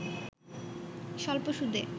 স্বল্প সুদে